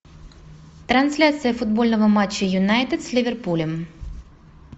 трансляция футбольного матча юнайтед с ливерпулем